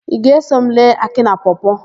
Ị ga-eso m lee Akị na Pọọ-pọọ?